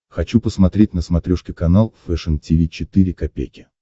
хочу посмотреть на смотрешке канал фэшн ти ви четыре ка